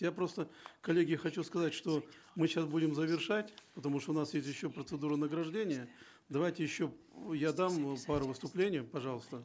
я просто коллеги хочу сказать что мы сейчас будем завершать потому что у нас есть еще процедура награждения давайте еще я дам э пару выступлений пожалуйста